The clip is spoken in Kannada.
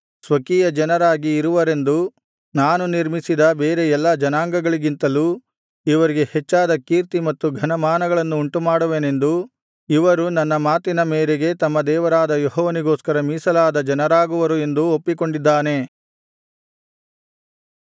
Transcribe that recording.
ಸ್ವಕೀಯಜನರಾಗಿ ಇರುವರೆಂದೂ ನಾನು ನಿರ್ಮಿಸಿದ ಬೇರೆ ಎಲ್ಲಾ ಜನಾಂಗಗಳಿಗಿಂತಲೂ ಇವರಿಗೆ ಹೆಚ್ಚಾದ ಕೀರ್ತಿ ಮತ್ತು ಘನಮಾನಗಳನ್ನು ಉಂಟುಮಾಡುವೆನೆಂದೂ ಇವರು ನನ್ನ ಮಾತಿನ ಮೇರೆಗೆ ತಮ್ಮ ದೇವರಾದ ಯೆಹೋವನಿಗೋಸ್ಕರ ಮೀಸಲಾದ ಜನರಾಗುವರು ಎಂದು ಒಪ್ಪಿಕೊಂಡಿದ್ದಾನೆ